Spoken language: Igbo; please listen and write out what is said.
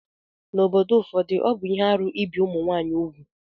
N'obodo ụfọdụ, ọ bụ ihe arụ ibi ụmụ nwaanyị úgwù